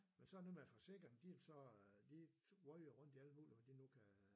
Men så det noget med at forsikringen de så de røg jo rundt i alt muligt hvad de nu kan